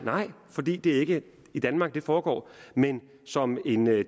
fordi det ikke er i danmark det foregår men som en